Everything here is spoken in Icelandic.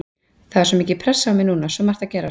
Það er svo mikil pressa á mér núna, svo margt að gerast.